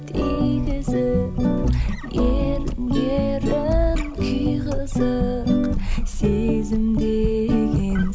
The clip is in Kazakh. тигізіп ерінге ерін күй қызық сезім деген